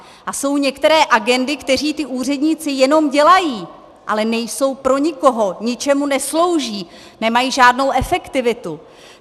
A jsou některé agendy, které ti úředníci jenom dělají, ale nejsou pro nikoho, ničemu neslouží, nemají žádnou efektivitu.